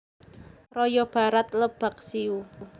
Raya Barat Lebaksiu